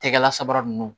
Tɛgɛla sabara nunnu